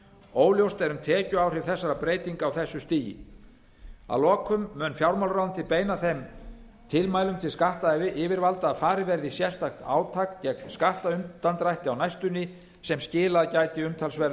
óljóst er um tekjuáhrif þessara breytinga á þessu stigi að lokum mun fjármálaráðuneytið beina þeim tilmælum til skattyfirvalda að farið verði í sérstakt átak gegn skattundandrætti á næstunni sem skilað gæti umtalsverðum